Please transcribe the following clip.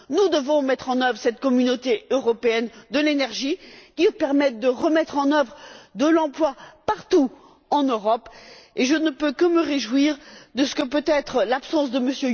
Nous devons mettre en œuvre cette communauté européenne de l'énergie qui nous permette de créer de nouveaux emplois partout en Europe et je ne peux que me réjouir de ce que, peut être, l'absence de